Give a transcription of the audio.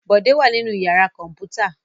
Bọ̀dé wà nínú ìyàrá kọ̀ǹpútà.